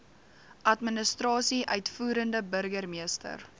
administrasie uitvoerende burgermeester